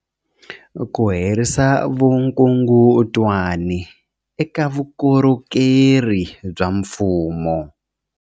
Ku herisa vukungundwani eka vukorhokeri bya mfumo